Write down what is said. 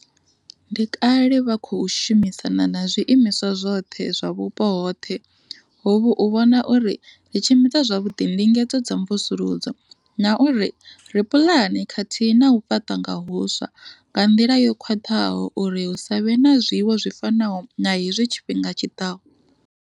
Ndi kale vha khou shumisana na zwiimiswa zwoṱhe zwa vhupo hoṱhe hovhu u vhona uri ri tshimbidza zwavhuḓi ndingedzo dza mvusuludzo na uri ri pulane khathihi na u fhaṱa nga huswa nga nḓila yo khwaṱhaho uri hu sa vhe na zwiwo zwi fanaho na hezwi tshifhinga tshi ḓaho.